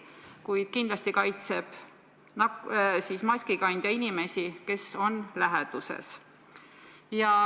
Kuid kindlasti kaitseb maskikandja inimesi, kes on läheduses.